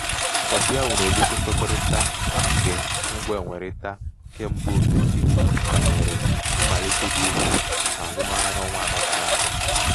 kọfị ahụ na-egosi nkwekọrịta nke mgbenwerita kembaofesi ga nwere mmelite dị ukwu n'azụmahịa n'ọnwa anọ gara aga.